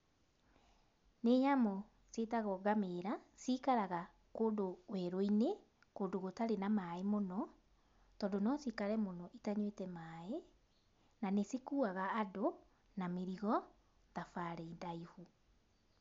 Nĩ nyamũ ciĩtagwo ngamĩra, cikaraga kũndũ werũinĩ, kũndũ gũtarĩ na maĩ mũno, tondũ nocikare mũno itanyuĩte maĩ, na nĩcikuaga andũ na mĩrigo thabarĩ ndaihu.